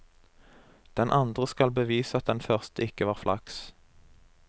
Den andre skal bevise at den første ikke var flaks.